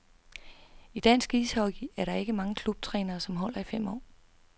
I dansk ishockey er der ikke mange klubtrænere, som holder i fem år.